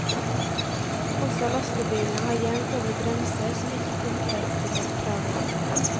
Også lastebilene har jevnt over bremser som ikke tilfredsstiller kravene.